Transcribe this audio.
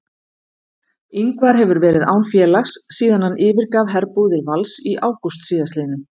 Ingvar hefur verið án félags síðan hann yfirgaf herbúðir Vals í ágúst síðastliðnum.